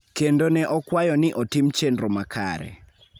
kendo ne okwayo ni otim chenro makare.